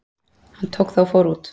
Hann tók það og fór út.